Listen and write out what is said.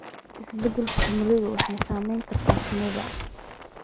Isbeddelka cimiladu waxay saameyn kartaa shinnida.